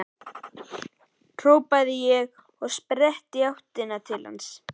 hrópaði ég og tók á sprett í áttina til hans.